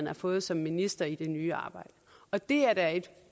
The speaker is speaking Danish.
har fået som minister i det nye arbejde det er da et